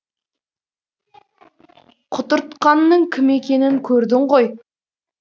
құтыртқанның кім екенін көрдің ғой